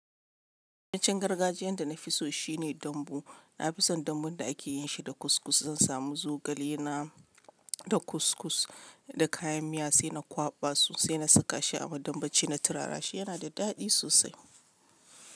Abincin gargajiyan da na fi so shine dambu. Na fi son dambun da ake yin shi da kus-kus. Zan samu zogale na, da kus-kus, da kayan miya, sai na kwaɓa sosai na saka shi a madambaci. Na turara shi. Yana da daɗi sosai.